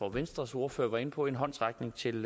at venstres ordfører var inde på en håndsrækning til